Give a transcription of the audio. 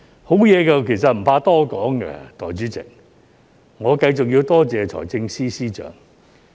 好的事情其實不怕多說，代理主席，我繼續要多謝財政司司長。